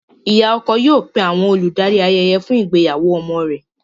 Ìyá ọkọ yóò pé àwọn olùdarí ayẹyẹ fún ìgbéyàwó ọmọ rẹ̀.